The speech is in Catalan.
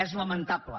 és lamentable